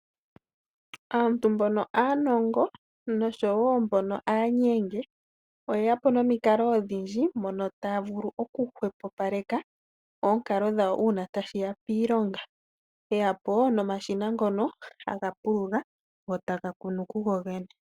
Aantu mbono aanongo nosho woo mbono aanyenge . Oye ya po momikalo odhindji mono taya vulu oku hwepopaleka oonkalo dhawo uuna tashiya piilonga . Oye yapo nomashina ngono taga pulula go taga kunu kugo gene.